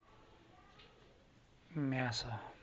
мясо